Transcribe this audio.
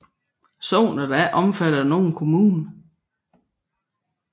Sognet er ikke omfattet af nogen kommune